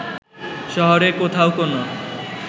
শহরের কোথাও কোনো